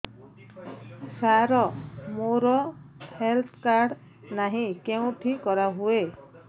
ସାର ମୋର health card ନାହିଁ କେଉଁଠି କରା ହୁଏ